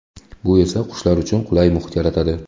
Bu esa qushlar uchun qulay muhit yaratadi.